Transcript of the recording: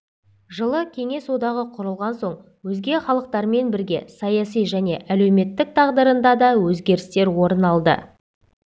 жылы кеңес одағы құрылған соң өзге халықтармен бірге саяси және әлеуметтік тағдырында да өзгерістер орын алды